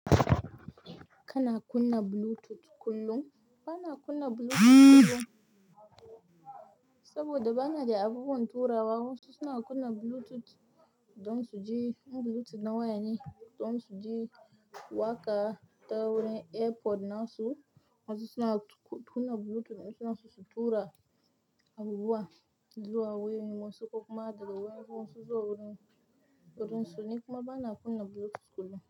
Kana kunna Bluetooth kullum? Ba na kunna Bluetooth kullum saboda ba na de abubuwan turawa. Wasu suna kunna Bluetooth don su ji, Bluetooth na waya ne don su ji waƙa ta wurin AirPods nasu. Wasu suna kuna Bluetooth don su tura abubuwa zuwa wayar wasu ko kuma haɗa wayar wasu zuwa wurin su. Ni kuma ba na kunna Bluetooth kullum.